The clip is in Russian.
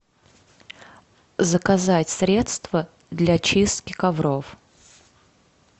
заказать средство для чистки ковров